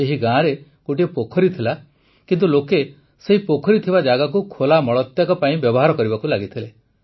ଏହି ଗାଁରେ ଗୋଟିଏ ପୋଖରୀ ଥିଲା କିନ୍ତୁ ଲୋକେ ସେହି ପୋଖରୀ ଥିବା ଜାଗାକୁ ଖୋଲା ମଳତ୍ୟାଗ ପାଇଁ ବ୍ୟବହାର କରିବାକୁ ଲାଗିଥିଲେ